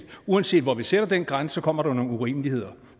uanset hvor vi sætter den grænse kommer der nogle urimeligheder